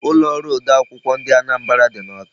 Ulo oru ode akwukwo ndị Anambra dị n'Awka.